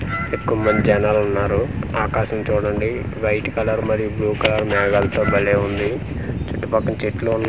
ఎక్కువ మంది జనాలున్నారు ఆకాశం చూడండి వైట్ కలర్ మరియు బ్లూ కలర్ మేఘాలతో భలే వుంది చుట్టపక్కల చెట్లు వు--